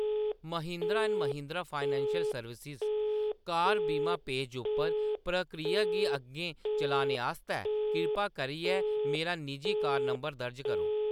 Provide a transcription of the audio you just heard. Mahindra and Mahindra financial services car बीमा page उप्पर प्रक्रिया गी अग्गें चलाने आस्तै किरपा करियै मेरा निजी कार नंबर दर्ज करो।